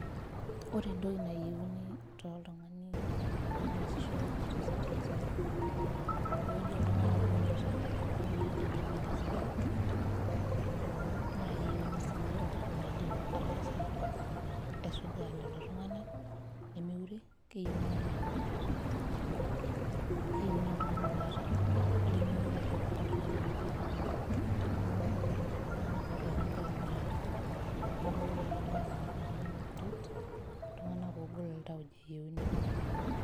Ore entoki nayiauni toltungani loyieu neasisho tesipitali sapuk tewueji oltunganak omoyia na enkipande esiia o nakeyieuni si oltungani oidim aisuja lolo tunganak meure keyieuni oltungani loata lemeurisho oltungani opi amu yiolo na ajo ltunganak otuata egira aboitare neaku meyiuanu oltungani kuret ltunganak ogol tauja eyaeuni.